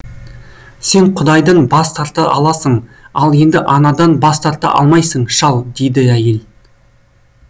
сен құдайдан бас тарта аласың ал енді анадан бас тарта алмайсың шал дейді әйел